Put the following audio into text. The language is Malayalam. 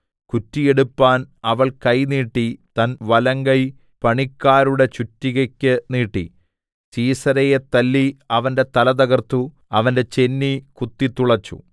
കുറ്റിയെടുപ്പാൻ അവൾ കൈ നീട്ടി തൻ വലങ്കൈ പണിക്കാരുടെ ചുറ്റികക്ക് നീട്ടി സീസെരയെ തല്ലി അവന്റെ തല തകർത്തു അവന്റെ ചെന്നി കുത്തിത്തുളെച്ചു